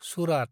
सुरात